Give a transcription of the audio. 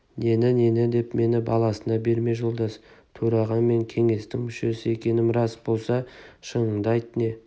нені-нені деп мені баласына берме жолдас төраға мен кеңестің мүшесі екенім рас болса шыныңды айт не